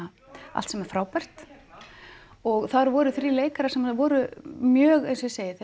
allt sem er frábært og þar voru þrír leikarar sem voru mjög eins og ég segi þeir